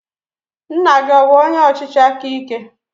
Nna gị ọ bụ onye ọchịchị aka ike?